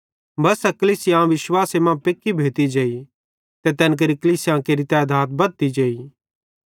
बस्सा कलीसियां विश्वासे मां पेक्की भोती जेई ते तैन केरि कलीसियां केरि तैधात बद्धती जेई